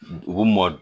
U bɛ mɔ